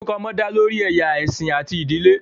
Orukọ ọmọ da lori ẹya, ẹsin ati idile.